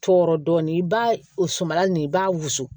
Tɔɔrɔ dɔɔnin i b'a o suman nin i b'a wusu